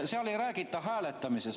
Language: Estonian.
Selles ei räägita hääletamisest.